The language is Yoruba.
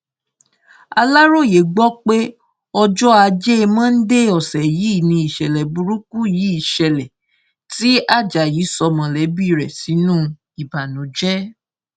aláròye gbọ pé ọjọ ajé monde ọsẹ yìí nìṣẹlẹ burúkú yìí ṣẹlẹ tí ajayi sọ mọlẹbí rẹ sínú ìbànújẹ